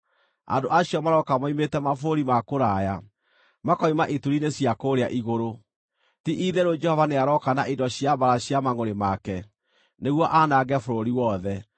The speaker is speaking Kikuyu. Andũ acio marooka moimĩte mabũrũri ma kũraya, makoima ituri-inĩ cia kũũrĩa igũrũ. Ti-itherũ Jehova nĩarooka na indo cia mbaara cia mangʼũrĩ make, nĩguo aanange bũrũri wothe.